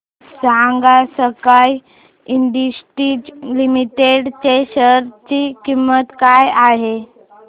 सांगा sky industries limited च्या share ची किंमत काय आहे